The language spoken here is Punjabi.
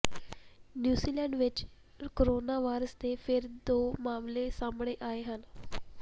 ਨਿਊਜ਼ੀਲੈਂਡ ਵਿਚ ਕੋਰੋਨਾ ਵਾਇਰਸ ਦੇ ਫਿਰ ਦੋ ਮਾਮਲੇ ਸਾਹਮਣੇ ਆਏ ਹਨ